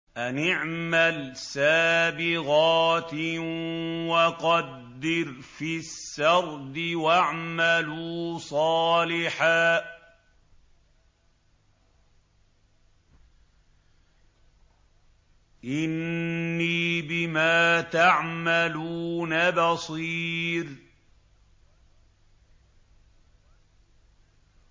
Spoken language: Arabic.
أَنِ اعْمَلْ سَابِغَاتٍ وَقَدِّرْ فِي السَّرْدِ ۖ وَاعْمَلُوا صَالِحًا ۖ إِنِّي بِمَا تَعْمَلُونَ بَصِيرٌ